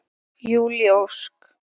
Júlí Ósk.